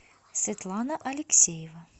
светлана алексеева